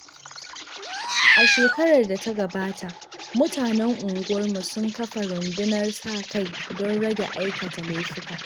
A shekarar da ta gabata, mutanen unguwarmu sun kafa rundunar sa-kai don rage aikata laifuka.